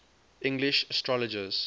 english astrologers